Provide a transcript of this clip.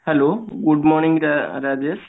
Hello good morning ରା ରାଜେଶ